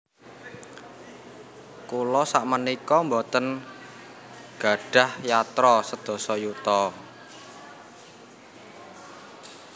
Kula sakmenika mboten nggadhah yatra sedasa yuta